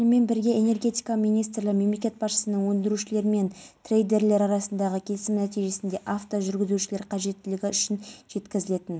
дейін наурызыш шарбақты құлагер атамұра көкарал сарыкеңгір мүсірепов ақ-бұлақ шағын ауданы толстой мен абыралы қиылыстары